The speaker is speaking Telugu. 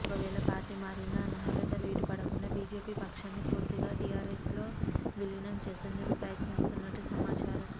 ఒకవేళ పార్టీ మారినా అనర్హత వేటుపడకుండా బీజేపీ పక్షాన్ని పూర్తిగా టీఆర్ఎస్లో విలీనం చేసేందుకు ప్రయత్నిస్తున్నట్టు సమాచారం